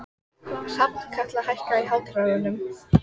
Hrafnkatla, hækkaðu í hátalaranum.